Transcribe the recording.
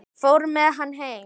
Fór með hann heim.